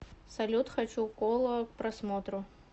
салют хочу кола к просмотру